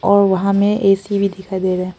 और वहां में ए सी भी दिखाई दे रहा--